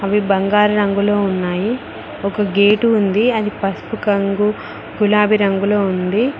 అవి బంగారు రంగులో ఉన్నాయి ఒక గేటు ఉంది అది పసుపు కంగు గులాబీ రంగులో ఉంది.